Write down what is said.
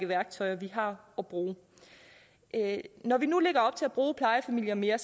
værktøjer vi har at bruge når vi nu lægger op til at bruge plejefamilier mere